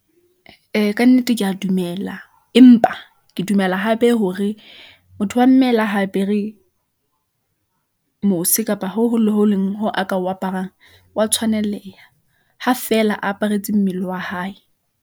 Ee, ka nnete ke a dumela, empa ke dumela hape hore motho wa mme le ha apere mose kapa ho hong le ho leng hoo a ka o aparang wa tshwaneleha. Ha feela aparetse mmele wa hae.